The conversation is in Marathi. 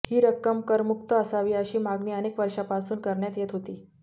ही रक्कम करमुक्त असावी अशी मागणी अनेक वर्षांपासून करण्यात येत होती